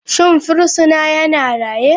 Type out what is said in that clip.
Shin fursuna yana raye?